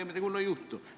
Midagi hullu ei juhtu.